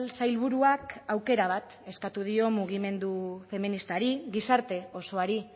sailburuak aukera bat eskatu dio mugimendu feministari gizarte osoari